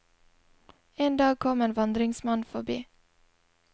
En dag kom en vandringsmann forbi.